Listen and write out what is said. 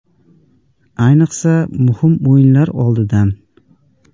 Ayniqsa muhim o‘yinlar oldidan”.